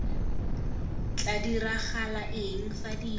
tla diragala eng fa dilo